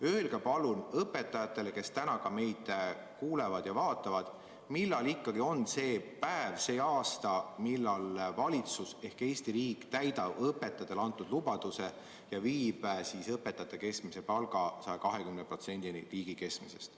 Öelge palun õpetajatele, kes samuti täna meid kuulavad ja vaatavad, millal on see päev, see aasta, kui valitsus, Eesti riik täidab õpetajatele antud lubaduse ja viib õpetajate keskmise palga 120%-ni riigi keskmisest.